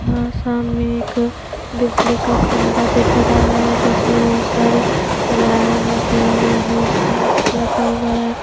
यहां सामने एक बिजली का खंभा दिख रहा है जिसमें बहोत सारे वायर लगे हुए हैं एक बॉक्स लगा हुआ है।